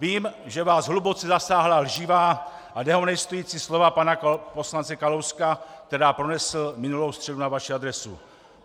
Vím, že vás hluboce zasáhla lživá a dehonestující slova pana poslance Kalouska, která pronesl minulou středu na vaši adresu.